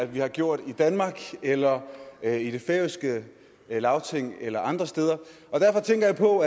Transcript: vi har gjort i danmark eller eller i det færøske lagting eller andre steder derfor tænker jeg på